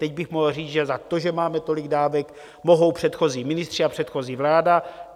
Teď bych mohl říct, že za to, že máme tolik dávek, mohou předchozí ministři a předchozí vláda.